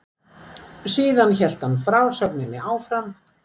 Síðan hélt hann frásögninni áfram